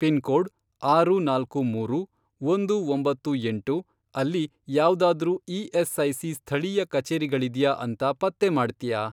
Pin code, ಆರು ನಾಲ್ಕು ಮೂರು, ಒಂದು ಒಂಬತ್ತು ಎಂಟು, ಅಲ್ಲಿ ಯಾವ್ದಾದ್ರೂ ಇ.ಎಸ್.ಐ.ಸಿ. ಸ್ಥಳೀಯ ಕಚೇರಿಗಳಿದ್ಯಾ ಅಂತ ಪತ್ತೆ ಮಾಡ್ತ್ಯಾ?